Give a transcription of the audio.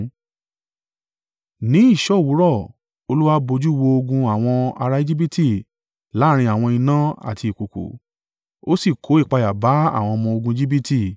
Ní ìṣọ́ òwúrọ̀ Olúwa bojú wo ogun àwọn ará Ejibiti láàrín ọ̀wọ̀n iná àti ìkùùkuu, ó sì kó ìpayà bá àwọn ọmọ-ogun Ejibiti.